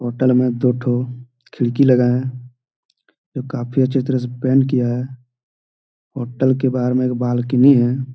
Hotel में दो ठो खिड़की लगाए है जो काफी अच्छे तरह से पेंट किया है होटल के बहार एक बालकनी है।